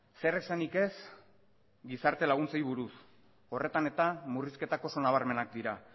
zer esanik ez gizarte laguntzei buruz horretan eta murrizketako oso nabarmenak dira